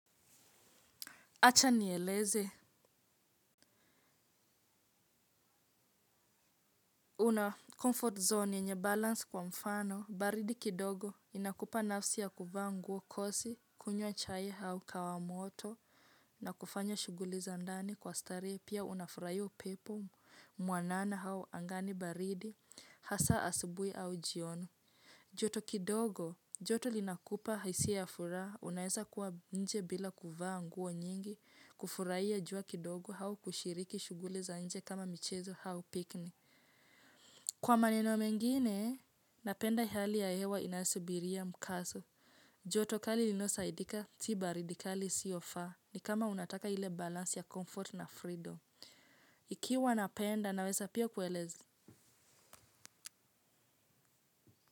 Acha nieleze, una comfort zone yenye balance kwa mfano, baridi kidogo, inakupa nafsi ya kuvaa nguo kosi, kunywa chai hau kahawa moto, na kufanya shuguli za ndani kwa starehe, pia unafurahia upepo mwanana au angani baridi, hasa asubui au jioni. Joto kidogo, joto linakupa hisia ya furaha, unaeza kuwa nje bila kuvaa nguo nyingi, kufurahia jua kidogo au kushiriki shughuli za nje kama michezo hao pikni. Kwa maneno mengine, napenda hali ya hewa inasubiria mkasu. Joto kali linao saidika si baridi kali isiofa ni kama unataka ile balansi ya comfort na freedom. Ikiwa napenda, naweza pio kuelezi.